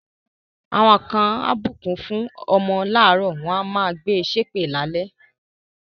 Àwọn kan á bùkún fún ọmọ láàárọ̀, wọ́n máa gbe ṣépè lálẹ́.